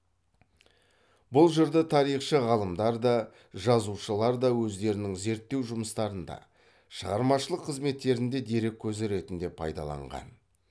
бұл жырды тарихшы ғалымдар да жазушылар да өздерінің зерттеу жұмыстарында шығармашылық қызметтерінде дерек көзі ретінде пайдаланған